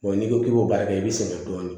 n'i ko k'i b'a baara kɛ i bɛ sɛgɛn dɔɔnin